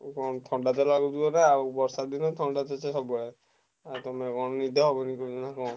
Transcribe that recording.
ଥଣ୍ଡା ଥିଲା ବର୍ଷଦିନ ଥଣ୍ଡା ଶୀତ ସବୁବେଳେ ଆଉ କଣ ନିଦ ହବନି ନାଁ କଣ।